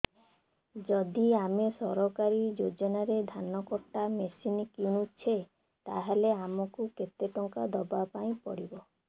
ଯଦି ଆମେ ସରକାରୀ ଯୋଜନାରେ ଧାନ କଟା ମେସିନ୍ କିଣୁଛେ ତାହାଲେ ଆମକୁ କେତେ ଟଙ୍କା ଦବାପାଇଁ ପଡିବ